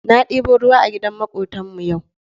Na ɗebo ruwa a gidan maƙwabtan mu yau.